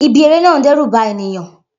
Ibi eré náà ń dẹ́rù ba ènìyàn